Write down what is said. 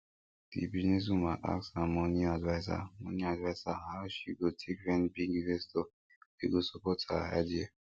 the business woman ask her money adviser money adviser how she go take find big investor wey go support her idea